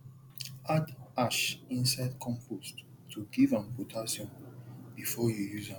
add ash inside compost to give am potassium before you use am